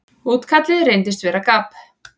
Útkallið reyndist vera gabb.